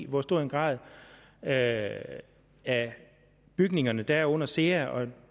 hvor stor en grad af af bygningerne der er under sea og